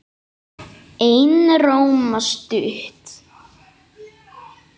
Einróma stutt.